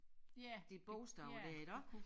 De bogstaver dér iggå